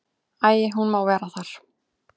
Æi, hún má vera þar.